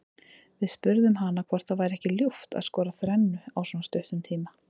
Við spurðum hana hvort það væri ekki ljúft að skora þrennu á svona stuttum tíma.